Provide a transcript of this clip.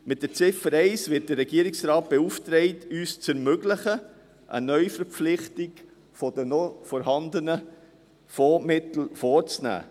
Mit Ziffer 1 wird der Regierungsrat beauftragt, uns zu ermöglichen, eine Neuverpflichtung der noch vorhandenen Fondsmittel vorzunehmen.